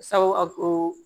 Sabu a ko